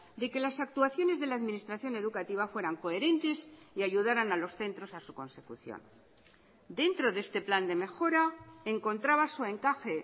de que las actuaciones de la administración educativa fueran coherentes y ayudaran a los centros a su consecución dentro de este plan de mejora encontraba su encaje